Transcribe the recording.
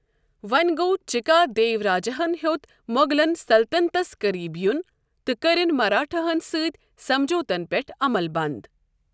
ووٚنہِ گوٚ چِکادیو راجاہن ہِیوت موغلن سلطنتس قریب یُن تہٕ کرِن مراٹھاہن سۭتۍ سمجھوتن پیٹھ عمل بند ۔